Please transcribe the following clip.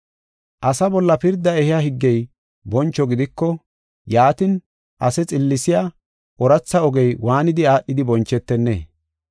Asa bolla pirda ehiya higgey boncho gidiko yaatin, ase xillisiya ooratha ogey waanidi aadhidi bonchetennee?